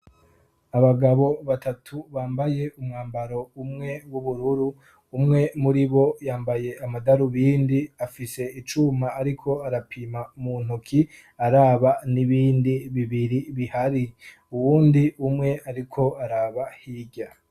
Abagabo batatu bambaye umwambaro umwe w'ubururu, umwe muri bo yambaye amadarubindi afise icuma ariko arapima mu ntuki araba n'ibindi bibiri bihari, uwundi umwe ariko araba hirya.